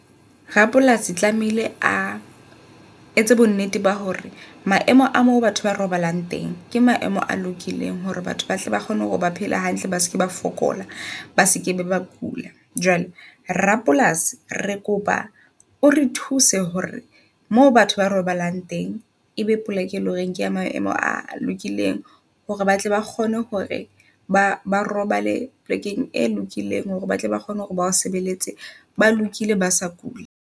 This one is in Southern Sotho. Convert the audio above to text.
Rapolasi tlamehile a etse bo nnete ba hore maemo a mo batho ba robalang teng ke maemo a lokileng hore batho ba tle ba kgone ho ba phela hantle, ba seke ba fokola, ba seke ba kula. Jwale Rapolasi re kopa o re thuse hore moo batho ba robalang teng, ebe poleke e leng hore kea maemo a lokileng hore batle ba kgone hore ba ba robale plekeng e lokileng. Hore batle ba kgone hore ba o sebeletse ona nkile ba sa kule.